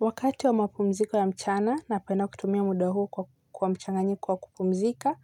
Wakati wa mapumziko ya mchana napenda kutumia muda huo kwa mchanganyiko kwa kupumzika,